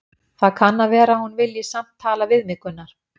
Það kann að vera að hún vilji samt tala við mig, Gunnar